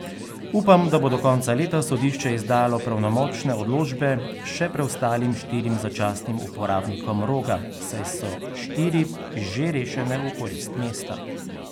Upam, da bo do konca leta sodišče izdalo pravnomočne odločbe še preostalim štirim začasnim uporabnikom Roga, saj so štiri že rešene v korist mesta.